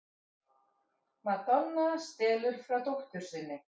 Madonna stelur frá dóttur sinni